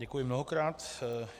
Děkuji mnohokrát.